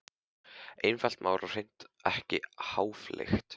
Einfalt mál og hreint ekki háfleygt.